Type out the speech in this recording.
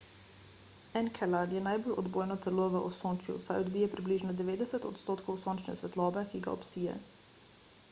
enkelad je najbolj odbojno telo v osončju saj odbije približno 90 odstotkov sončne svetlobe ki ga obsije